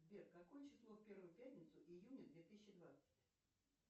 сбер какое число в первую пятницу июня две тысячи двадцать